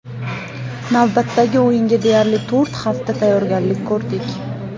Navbatdagi o‘yinga deyarli to‘rt hafta tayyorgarlik ko‘rdik.